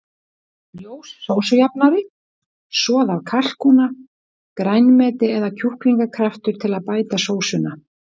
Ljós sósujafnari, soð af kalkúna, grænmeti eða kjúklingakraftur til að bæta sósuna.